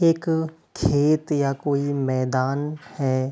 एक खेत या कोई मैदान है।